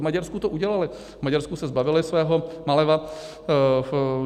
V Maďarsku to udělali, v Maďarsku se zbavili svého Maléva.